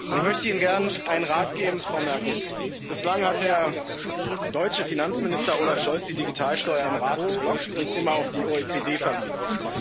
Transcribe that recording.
Ich möchte Ihnen gern einen Rat geben, Frau Merkel Bislang hat der deutsche Finanzminister Olaf Scholz die Digitalsteuer im Rat geblockt und immer auf die OECD verwiesen.